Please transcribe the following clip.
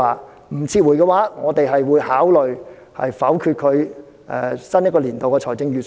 如果不撤回，我們會考慮否決新年度的財政預算案。